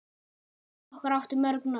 Afi okkar átti mörg nöfn.